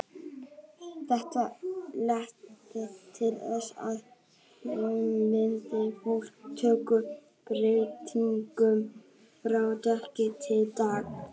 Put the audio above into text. Þetta leiddi til þess að hugmyndir fólks tóku breytingum frá degi til dags.